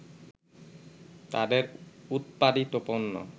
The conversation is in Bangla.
তাদের উৎপাদিত পণ্য